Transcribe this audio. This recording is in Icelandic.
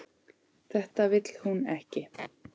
Þetta vill hún ekki.